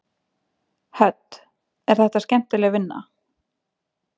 Hödd: Er þetta skemmtileg vinna?